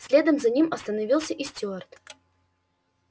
следом за ним остановился и стюарт